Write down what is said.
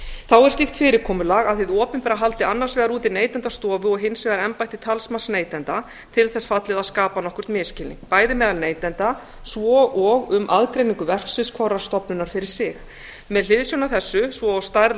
þá er slíkt fyrirkomulag að hið opinbera haldi annars vegar úti neytendastofu og hins vegar embætti talsmanns neytenda til þess fallið að skapa nokkurn misskilning bæði meðal neytenda svo og um aðgreiningu verksviðs hvorrar stofnunar fyrir sig með hliðsjón af þessu svo og stærð